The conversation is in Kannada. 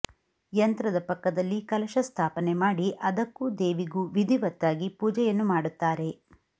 ಯಂತ್ರದ ಪಕ್ಕದಲ್ಲಿ ಕಲಶಸ್ಥಾಪನೆ ಮಾಡಿ ಅದಕ್ಕೂ ದೇವಿಗೂ ವಿಧಿವತ್ತಾಗಿ ಪೂಜೆಯನ್ನು ಮಾಡುತ್ತಾರೆ